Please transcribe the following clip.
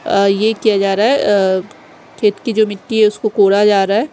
अ ये एक जा रहा है अ खेत की जो मिटटी है उसको खोदा जा रहा है।